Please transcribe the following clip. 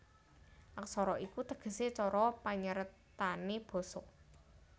Aksara iku tegesé cara panyeratané basa